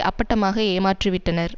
அப்பட்டமாக ஏமாற்றிவிட்டனர்